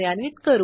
ह्याचा कोड पाहू